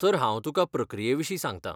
तर हांव तुका प्रक्रिये विशीं सांगता.